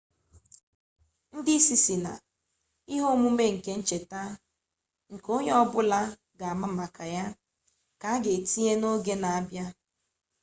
ndi isi si na ihe omume nke ncheta nke onye-obula ga ama maka ya ka aga etinye na oge na abia